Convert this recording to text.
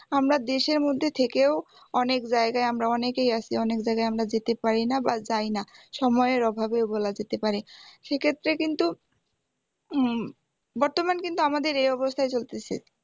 আমরা দেশের মধ্যে থেকেও অনেক জায়গায় আমরা অনেকেই অনেক জায়গায় আমরা যেতে পারিনা বা যাইনা সময়ের অভাবে বলা যেতে পারে সেক্ষেত্রে কিন্তু উম বর্তমান কিন্তু আমাদের এই অবস্থাই চলতেসে